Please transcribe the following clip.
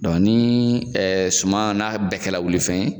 Dɔn ni ɛ sum wuli kɛra fɛn yen